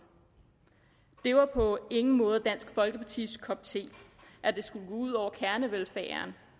det var på ingen måde dansk folkepartis kop te at det skulle gå ud over kernevelfærden